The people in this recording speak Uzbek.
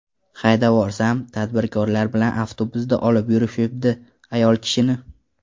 Haydavorsam, tadbirkorlar bilan avtobusda olib yurishibdi, ayol kishini.